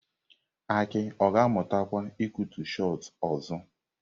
Aki ọ ga-amụtakwa ịkụtu Shot ọzọ?